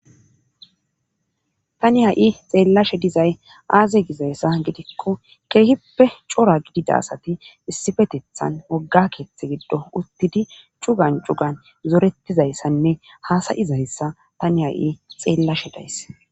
Tani ha7i xeellashe dizay aaze gizayssa gidikko keehippe cora gidida asati issifetethan wogga keeththe giddo uttidi cugan cugan zorettizayssanne haasayizayssa tani ha'i xeellashe days.